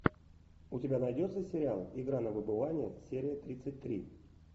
у тебя найдется сериал игра на выбывание серия тридцать три